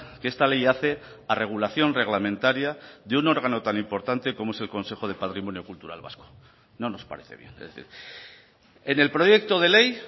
que esta ley hace a regulación reglamentaria de un órgano tan importante como es el consejo de patrimonio cultural vasco no nos parece bien es decir en el proyecto de ley